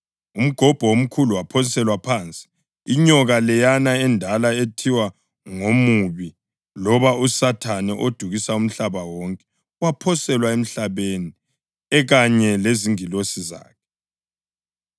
Umgobho omkhulu waphoselwa phansi, inyoka leyana endala ethiwa ngoMubi loba uSathane odukisa umhlaba wonke. Waphoselwa emhlabeni ekanye lezingilosi zakhe.